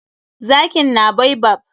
Zakin na baobab.